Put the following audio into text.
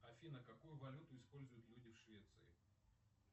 афина какую валюту используют люди в швеции